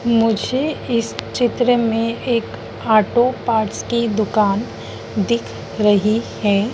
मुझे इस चित्र में एक ऑटो पार्ट्स की दुकान दिख रही हैं।